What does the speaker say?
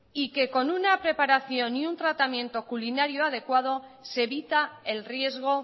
y que con una preparación y un tratamiento culinario adecuado se evita el riesgo